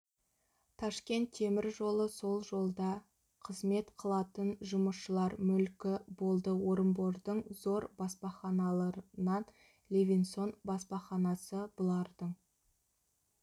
ташкент темір жолы сол жолда қызмет қылатын жұмысшылар мүлкі болды орынбордың зор баспаханаларынан левинсон баспаханасы бұлардың